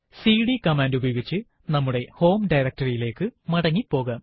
CD command ഉപയോഗിച്ച് നമ്മുടെ home directory യിലേക്ക് മടങ്ങി പോകാം